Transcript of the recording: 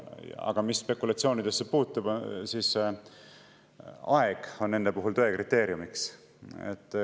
Aga mis spekulatsioonidesse puutub, siis aeg on nende puhul tõe kriteeriumiks.